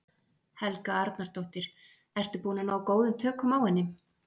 Helga Arnardóttir: Ertu búinn að ná góðum tökum á henni?